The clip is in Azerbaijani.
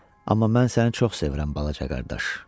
Amma mən səni çox sevirəm balaca qardaş.